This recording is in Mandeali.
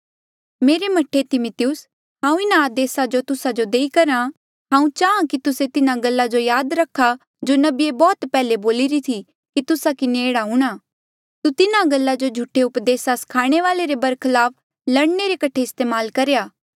मेरे मह्ठे तिमिथियुस हांऊँ इन्हा आदेसा जो तुस्सा जो देई करहा हांऊँ चाहां कि तुस्से तिन्हा गल्ला जो याद रखा जो नबिये बौह्त पैहले बोलिरी थी कि तुस्सा किन्हें एह्ड़ा हूंणा तू तिन्हा गल्ला जो झूठे उपदेसा स्खाणे वाले रे बरखलाफ लड़ने रे कठे इस्तेमाल करेया